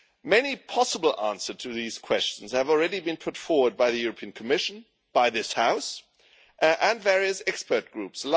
Many possible answers to these questions have already been put forward by the Commission, by this House and by various expert groups.